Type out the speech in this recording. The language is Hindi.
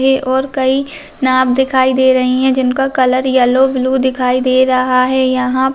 ये और कई नाव दिखाई दे रही हैं जिनका कलर येलो ब्लू दिखाई दे रहा है यहाँ --